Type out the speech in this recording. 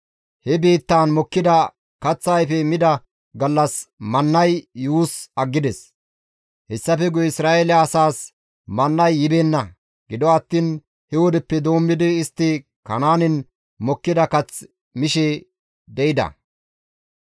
He biittaan mokkida kaththa ayfe mida gallas mannay yuus aggides; hessafe guye Isra7eele asaas mannay yibeenna; gido attiin he wodeppe doommidi istti Kanaanen mokkida kath mishe de7ida.